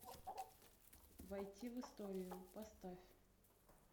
войти в историю поставь